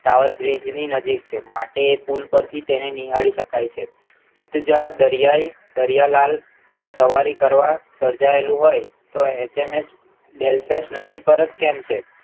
સાવર bridge ની નજીક છે માટે પુલ પરથી તેને નિહાળી શકાય છે સિદ્ધ જાહર દરિયાઈ દરિયાલાલ પર સવારી કરવા સર્જાયેલું હોય તો એચએમએસ delicious નદી પર જ કેમ છે